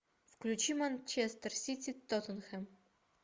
включи манчестер сити тоттенхэм